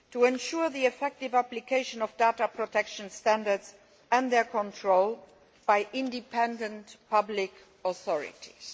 ensures the effective application of data protection standards and their control by independent public authorities.